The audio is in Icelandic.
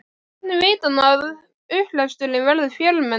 Hvernig veit hann að upplesturinn verður fjölmennur?